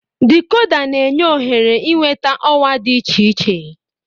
Dikoda na-enye ohere ịnweta ọwa dị iche iche.